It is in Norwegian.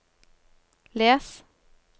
les